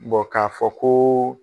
k'a fɔ ko.